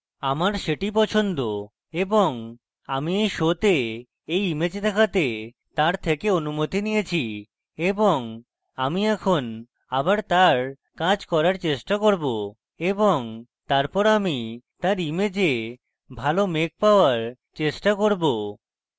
আমার সেটি পছন্দ এবং আমি এই শোতে এই image দেখাতে তার থেকে অনুমতি নিয়েছি এবং আমি এখন আবার তার কাজ করার চেষ্টা করব এবং তারপর আমি তার image ভালো মেঘ পাওয়ার চেষ্টা করব